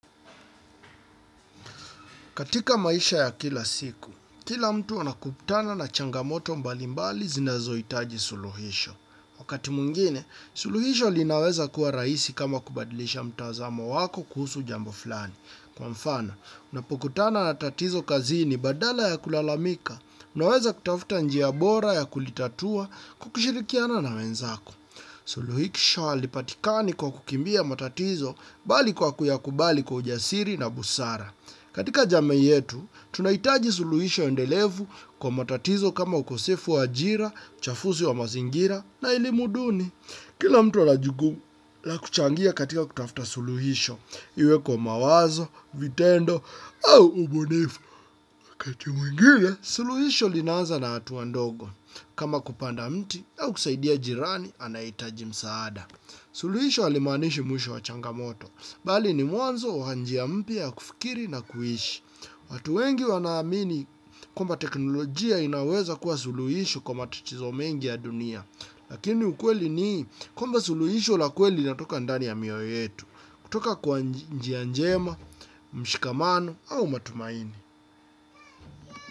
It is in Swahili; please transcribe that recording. Katika maisha ya kila siku, kila mtu anakutana na changamoto mbalimbali zinazohitaji suluhisho. Wakati mwingine, suluhisho linaweza kuwa rahisi kama kubadilisha mtazamo wako kuhusu jambo fulani. Kwa mfano, unapokutana na tatizo kazini badala ya kulalamika, unaweza kutafuta njia bora ya kulitatua kwa kushirikiana na wenzako. Suluhisho halipatikani kwa kukimbia matatizo bali kwa kuyakubali kwa ujasiri na busara. Katika jamii yetu, tunahitaji suluhisho endelevu kwa matatizo kama ukosefu wa ajira, uchafuzi wa mazingira na elimu duni. Kila mtu ana jukumu la kuchangia katika kutafuta suluhisho, iwe kwa mawazo, vitendo au ubunifu. Wakati mwingine, suluhisho linaanza na hatua ndogo. Kama kupanda mti au kusaidia jirani, anayehitaji msaada. Suluhisho halimaanishi mwisho wa changamoto, bali ni mwanzo wa njia mpya ya kufikiri na kuishi. Watu wengi wanaamini kwamba teknolojia inaweza kuwa suluhisho kwa matatizo mengi ya dunia. Lakini ukweli ni kwamba suluhisho la kweli linatoka ndani ya mioyo yetu, kutoka kwa njia njema, mshikamano au matumaini.